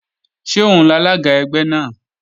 Ṣé òun lalága ẹgbẹ́ náà?